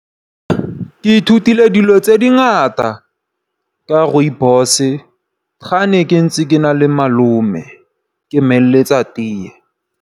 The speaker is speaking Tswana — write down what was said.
Ke ithutile dilo tse dingata ka Rooibos ga ne ke ntse ke na le malome ke mo eletsa tee.